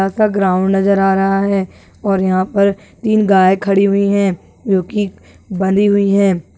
का ग्राउंड नज़र आ रहा है और यहां पर तीन गाय खड़ी हुई है जो की बंधी हुई है।